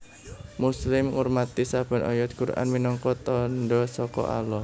Muslim ngurmati saben ayat Quran minangka tandha saka Allah